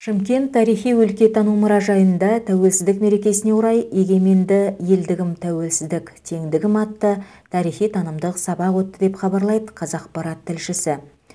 шымкент тарихи өлкетану мұражайында тәуелсіздік мерекесіне орай егеменді елдігім тәуелсіздік теңдігім атты тарихи танымдық сабақ өтті деп хабарлайды қазақпарат тілшісі